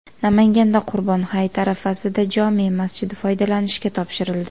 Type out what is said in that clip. Namanganda Qurbon hayiti arafasida jome masjidi foydalanishga topshirildi .